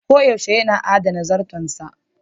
Koyaushe yana adana zarton sa.